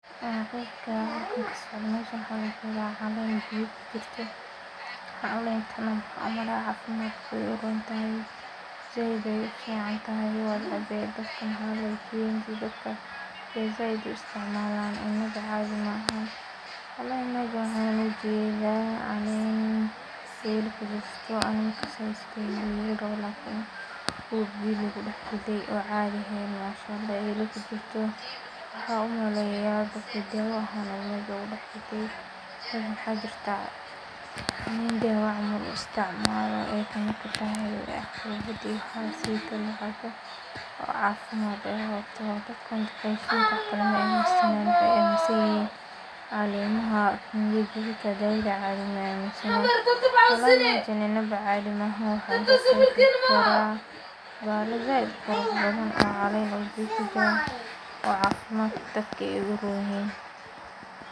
Mesha waxaa kasocdo waa caleen lakariye, caleenta nah cafimaadka ayay uficantehe dadka ayaa zaid u istcimaalan cunada caadi maahan wlh meshan waxaa ujeda caleen eela kujirte aniga maaqano siduu yeeloi rabo dad waxaa jirta cafimaad ahaan u istcimaalo caleemaha inadaba caadi maahan bahala zaid ayay ukareen oo cafmadka dadka ayay uroon yihin